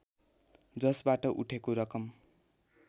जसबाट उठेको रकम